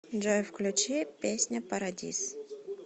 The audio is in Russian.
джой включи песня парадиз